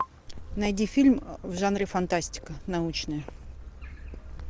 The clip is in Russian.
найди фильм в жанре фантастика научная